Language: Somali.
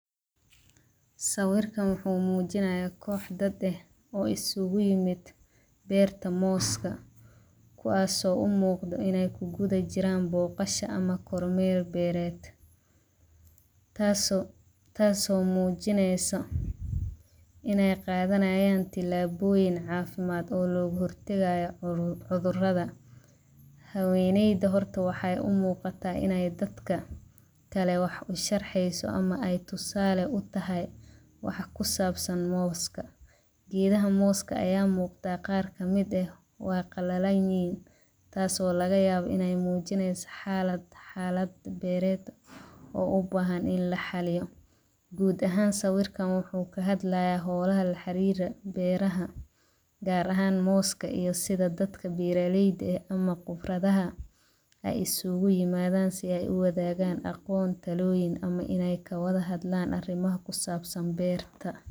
Sawirkan wuxuu mujinaya kox dad eh oo iskugu imadhe beerta moska, kuwas oo u muqda in ee ku gudha jiran boqasha ama kormer beered tas oo mujineysa in ee qadhanayan tilaboyin cafimaad oo loga hortagaya cudhuraada haweneyda horta waxee umuqata horta in ee dadka kale wax usherxesa ama ee tusale utahay waxaa kusabsan moska, geedaha moska aya muqda qar kamiid ah waa qalalanyihin tas oo laga yawa in ee mujineysa xalaad beered oo u bahan in laxaliyo gud ahan swirkan wuxuu kahadlaya holaha laxarira beeraha gar ahan moska ama sitha dadka beerta leyda eh ama gibraadaha ee iskugu imadhan sitha ee uwadhagan aqon taloyin weyn ama in ee kawadha hadlan arimaha kusabsan beerta.